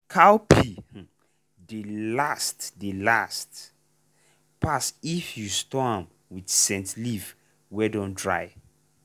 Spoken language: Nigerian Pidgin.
cowpea um dey last dey last um pass if you store am with scent leaf wey dun dry.